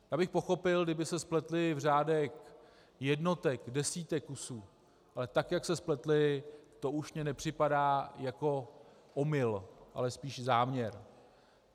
Já bych pochopil, kdyby se spletli v řádech jednotek, desítek kusů, ale tak jak se spletli, to už mi nepřipadá jako omyl, ale spíš záměr.